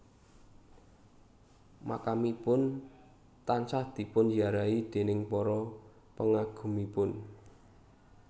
Makamipun tansah dipun ziarahi déning para pengagumipun